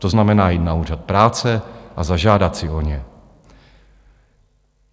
To znamená jít na úřad práce a zažádat si o ně.